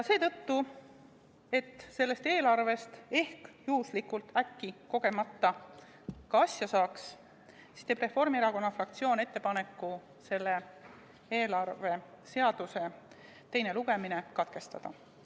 Seetõttu, et sellest eelarvest ehk, juhuslikult, äkki, kogemata ka asja saaks, teeb Reformierakonna fraktsioon ettepaneku selle eelarveseaduse teine lugemine katkestada.